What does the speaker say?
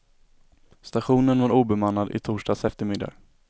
Stationen var obemannad i torsdags eftermiddag.